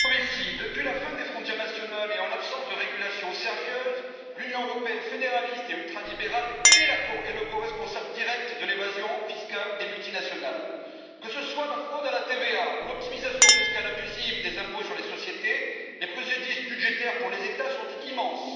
Madame la Présidente, Monsieur le Commissaire, depuis la fin des frontières nationales et en l'absence de régulations sérieuses, l'Union européenne fédéraliste et ultralibérale est le coresponsable direct de l'évasion fiscale des multinationales. Que ce soit la fraude à la TVA ou l'optimisation fiscale abusive des impôts sur les sociétés, les préjudices budgétaires pour les États sont immenses.